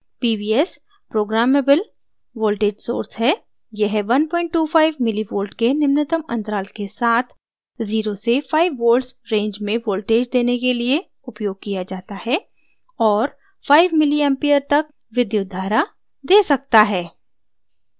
pvs programmable voltage source है यह 125 mv milli volts के निम्नतम अंतराल के साथ 05 volts range में voltage देने के लिए उपयोग किया जाता है और 5 ma milli एम्पीयर तक विद्युत धारा ma सकता है